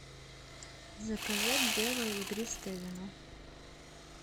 заказать белое игристое вино